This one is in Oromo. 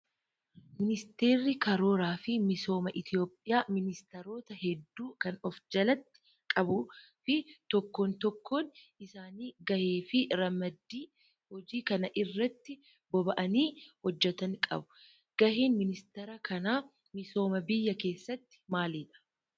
Ministeerri karooraa fi misoomaa Itoophiyaa ministeerota hedduu kan of jalatti qabuu fi tokkoon tokkoon isaanii gahee fi ramaddii hojii kan irratti boba'anii hojjatan qabu. Gaheen ministeera kanaa misooma biyyaa keessatti maalidhaa?